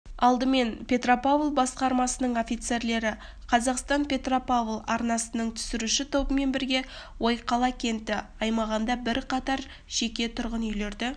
алдымен петропавл басқармасының офицерлері қазақстан-петропавл арнасының түсіруші тобымен бірге ойқала кеңті аймағындағы бірқатар жеке тұрғын үйлерді